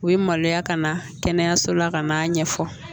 U ye maloya ka na kɛnɛyaso la ka n'a ɲɛfɔ